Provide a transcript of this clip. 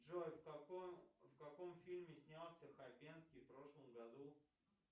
джой в каком фильме снялся хабенский в прошлом году